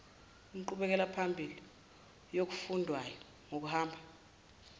inqubekelaphambili yokufundwayo ngokuhamba